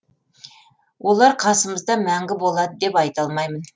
олар қасымызда мәнгі болады деп айта алмаймын